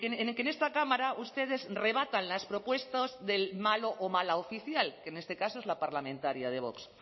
en que en esta cámara ustedes rebatan las propuestas del malo o mala oficial que en este caso es la parlamentaria de vox